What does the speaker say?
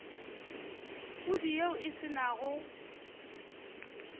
pudi yeo e se nago